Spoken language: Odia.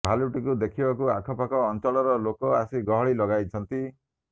ଭାଲୁଟିକୁ ଦେଖିବାକୁ ଆଖପାଖ ଅଞ୍ଚଳର ଲୋକେ ଆସି ଗହଳି ଲଗାଇଛନ୍ତି